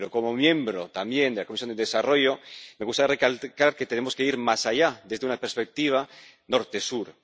Pero, como miembro, también, de la Comisión de Desarrollo, me gustaría recalcar que tenemos que ir más allá, desde una perspectiva norte sur.